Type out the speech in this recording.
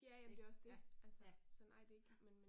Ik, ja, ja. Ja